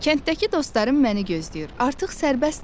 Kənddəki dostlarım məni gözləyir, artıq sərbəstəm.